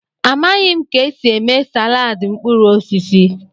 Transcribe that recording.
Amaghị m ka esi eme salaadị mkpụrụ osisi.